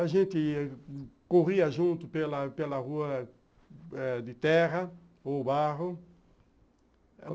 A gente corria junto pela pela rua de terra ou barro.